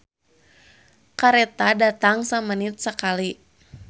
"Kareta datang samenit sakali"